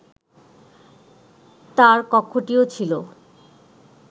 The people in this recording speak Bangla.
তার কক্ষটিও ছিল